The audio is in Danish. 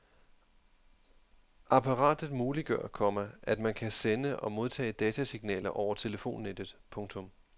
Apparat muliggør, komma at man kan sende og modtage datasignaler over telefonnettet. punktum